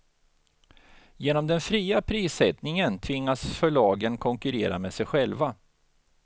Genom den fria prissättningen tvingas förlagen konkurrera med sig själva.